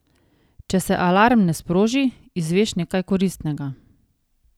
Če se alarm ne sproži, izveš nekaj koristnega.